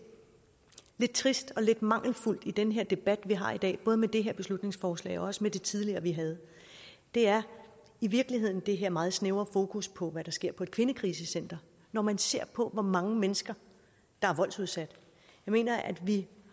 trist og lidt mangelfuldt i den her debat vi har i dag både med det her beslutningsforslag og også det tidligere vi havde er i virkeligheden det her meget snævre fokus på hvad der sker på et kvindekrisecenter når man ser på hvor mange mennesker der er voldsudsatte jeg mener at vi